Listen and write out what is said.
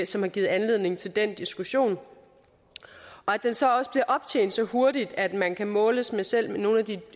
som har givet anledning til den diskussion og at den så også bliver optjent så hurtigt at man kan måles med selv nogle af de